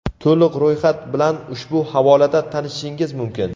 To‘liq ro‘yxat bilan ushbu havolada tanishishingiz mumkin.